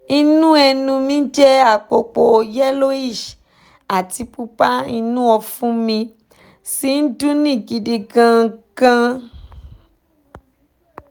inú ẹnu mi jẹ́ àpòpọ̀ yellowish àti pupa inú ọ̀fun mi sì ń dunni gidi gan-an